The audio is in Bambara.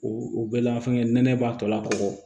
O o bɛɛ la an fɛŋɛ nɛnɛ b'a tɔ la kɔ